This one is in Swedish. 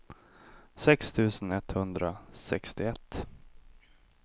sex tusen etthundrasextioett